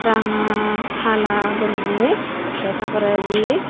ranga hala guriney te ta porendi.